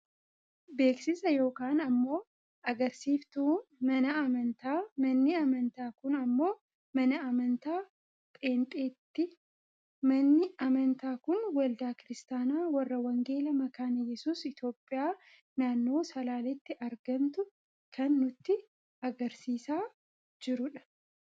Beeksisa yookaan ammoo agarsiiftuu mana amantaa, manni amantaa kun ammoo mana amantaa pheenxeeti. Manni amantaa kun waldaa kiristaanaa warra wangeelaa makaana yesuus Itoophiyaa naannoo salaaleetti argamtu kan nutti agarsiisaa jirudha.